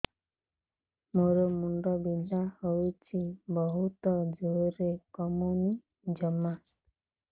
ମୋର ମୁଣ୍ଡ ବିନ୍ଧା ହଉଛି ବହୁତ ଜୋରରେ କମୁନି ଜମା